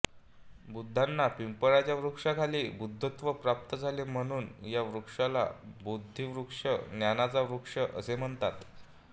बुद्धांना पिंपळाच्या वृक्षाखाली बुद्धत्व प्राप्त झाले म्हणून या वृक्षाला बोधिवृक्ष ज्ञानाचा वृक्ष असे म्हणतात